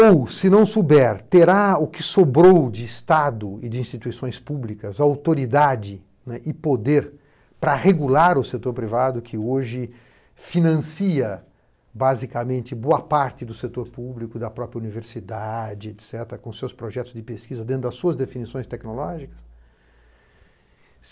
Ou, se não souber, terá o que sobrou de Estado e de instituições públicas, autoridade e poder para regular o setor privado que hoje financia basicamente boa parte do setor público, da própria universidade, etc, com seus projetos de pesquisa dentro das suas definições tecnológicas?